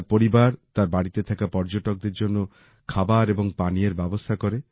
তার পরিবার তার বাড়িতে থাকা পর্যটকদের জন্য খাবার এবং পানীয়ের ব্যবস্থা করে